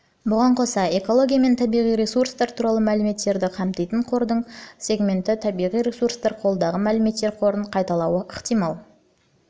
бұған қоса экология мен табиғи ресурстар туралы мәліметтерді қамтитын қордың сегменттері табиғи ресурстар қолдағы мәліметтер қорын қайталауы ықтимал